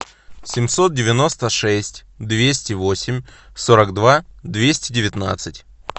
семьсот девяносто шесть двести восемь сорок два двести девятнадцать